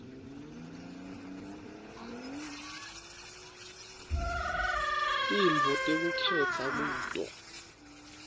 tintfo tekukhetsa kuto